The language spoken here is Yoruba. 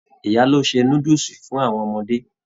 Ìyá ló ṣe núdúsí fún àwọn ọmọdé.